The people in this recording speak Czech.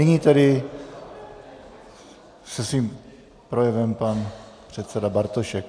Nyní tedy se svým projevem pan předseda Bartošek.